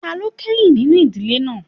Ta ló kẹ́yìn nínú ìdíje náà?